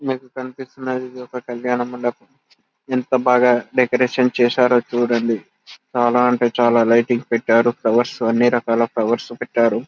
మీకు కనిపిస్తున్నది ఇదొక కళ్యాణమండపం ఎంత బాగా డెకరేషన్ చేశారో చూడండి చాలా అంటే చాలా లైటింగ్స్ పెట్టారు ఫ్లవర్స్ అన్ని రకాల ఫ్లవర్స్ పెట్టారు --